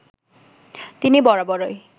তিনি বরাবরই